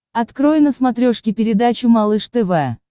открой на смотрешке передачу малыш тв